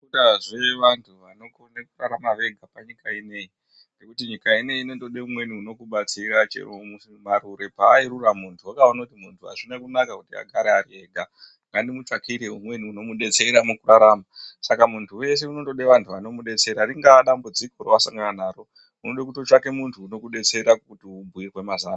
Akuna zvevantu vanokona kurarama Vega nekuti nyika ineyi inoda umweni anokubatsira chero marero panorura muntu azvina kunaka kuti muntu agare Ari ega amutsvakire umweni anomudetsera saka muntu wese anoda muntu anomudetsera ringava dambudziko rawasangana naro unoda kutsvaka muntu anokudetsera kuti ubhuirwe mazano.